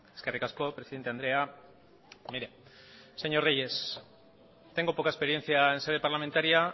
eskerrik asko presidente andrea mire señor reyes tengo poca experiencia en sede parlamentaria